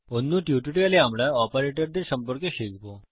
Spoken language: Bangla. অন্য টিউটোরিয়ালে আমরা অপারেটরদের সম্পর্কে শিখব